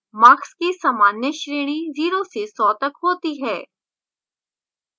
marks की सामान्य श्रेणी 0 से 100 तक होती है